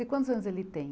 E quantos anos ele tem?